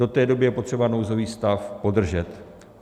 Do té doby je potřeba nouzový stav podržet.